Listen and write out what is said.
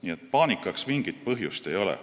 Nii et paanikaks mingit põhjust ei ole.